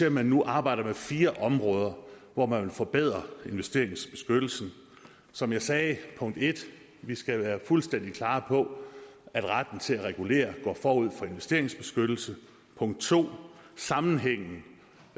at man nu arbejder med fire områder hvor man vil forbedre investeringsbeskyttelsen som jeg sagde det punkt 1 vi skal være fuldstændig klar på at retten til at regulere går forud for investeringsbeskyttelse punkt 2 sammensætningen